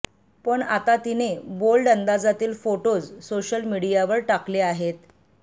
पण आता तीने बोल्ड अंदाजातील फोटोज सोशल मीडियावर टाकले आहेत